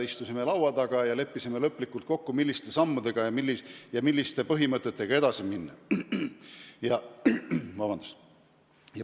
Me istusime laua taga ja leppisime lõplikult kokku, milliste sammudega ja milliste põhimõtetega edasi minna.